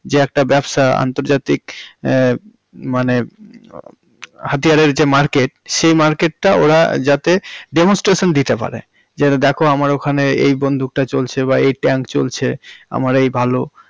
যে একটা ব্যবসা আন্তর্জাতিক হুম মানে হাতিয়ারের যে মার্কেট সেই মার্কেটটা ওরা যাতে demonstration দিতে পারে যে দেখো আমার ওখানে এই বন্দুকটা চলছে বা এই tank চলছে, আমার এই ভালো।